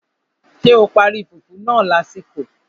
Ṣé o parí fùfú náà lásìkò?